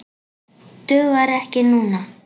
Dugar ekki núna.